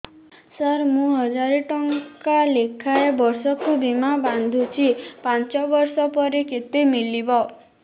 ସାର ମୁଁ ହଜାରେ ଟଂକା ଲେଖାଏଁ ବର୍ଷକୁ ବୀମା ବାଂଧୁଛି ପାଞ୍ଚ ବର୍ଷ ପରେ କେତେ ମିଳିବ